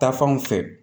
Taa fan fɛ